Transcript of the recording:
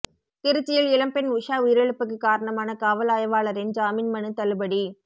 திருச்சியில் இளம் பெண் உஷா உயிரிழப்புக்கு காரணமான காவல் ஆய்வாளரின் ஜாமீன் மனு தள்ளுபடி